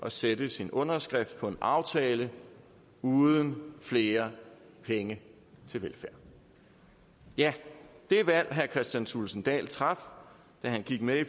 at sætte sin underskrift på en aftale uden flere penge til velfærd ja det valg herre kristian thulesen dahl traf da han gik med i